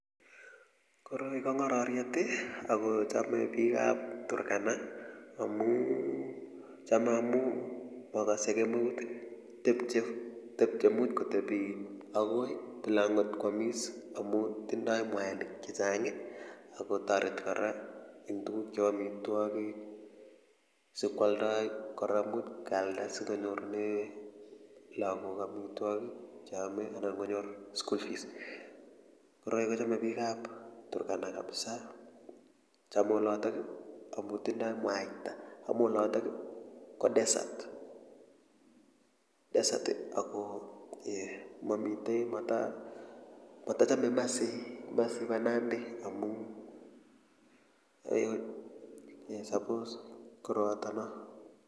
Koroi kongororiet akochome bikap turkana amuu chome amu makase kemeut tepche imuch kotebi agoi tile amgot kwamis amu tinye mwanik chechang akotoreti kora eng tuguk cheu amitwagik chepkeoldoi kora kemuchi kealda sikonyorune lagok amitwogik cheome anan konyor school fees koroi kochame bikab turkana kabisa chome olotok amu tindoi mwaita amu olotok ko desert ako mata chome kimasi masi bo nandi amu koroatono